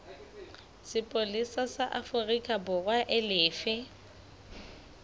sepolesa sa aforikaborwa e lefe